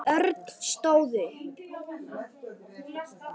Örn stóð upp.